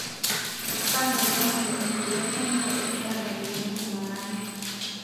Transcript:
mpangakaki emasho enkolong einoto e sarah ntarikini tomon aare